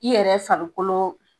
I yɛrɛ farikolo